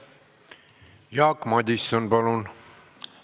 Jaak Madison, palun!